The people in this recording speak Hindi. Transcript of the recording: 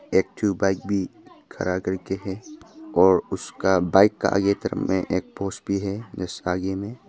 एक ठो बाइक भी खड़ा करके है और उसका बाइक का आगे तरफ में एक पोस पोस्ट भी है जस्ट आगे में।